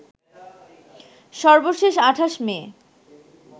সর্বশেষ ২৮ মে